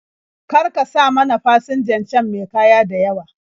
Kar ka sa mana fasinjan can me kaya da yawa.